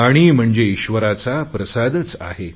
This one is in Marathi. पाणी म्हणजे ईश्वराचा प्रसादच आहे